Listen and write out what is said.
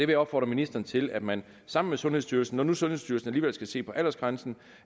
vil opfordre ministeren til at man sammen med sundhedsstyrelsen når nu sundhedsstyrelsen alligevel skal se på aldersgrænsen